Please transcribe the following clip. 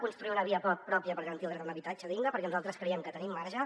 construirem una via pròpia per garantir el dret a un habitatge digne perquè nosaltres creiem que tenim marge